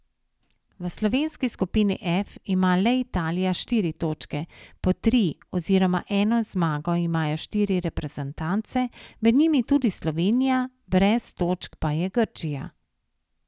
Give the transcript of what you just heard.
V slovenski skupini F ima le Italija štiri točke, po tri oziroma eno zmago imajo štiri reprezentance, med njimi tudi Slovenija, brez točk pa je Grčija.